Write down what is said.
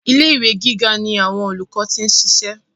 Ilé ìwé gíga ni àwọn olùkọ́ ti ń ṣiṣẹ́.